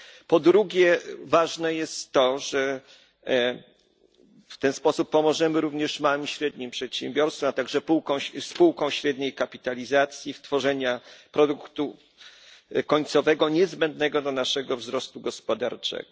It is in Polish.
Po drugie, ważne jest to, że w ten sposób pomożemy również małym i średnim przedsiębiorstwom, a także spółkom średniej kapitalizacji w tworzeniu produktu końcowego niezbędnego dla naszego wzrostu gospodarczego.